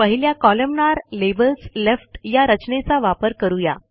पहिल्या कोलमनार labels left या रचनेचा वापर करू या